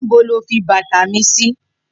Nibó ló fi bàtá mi si?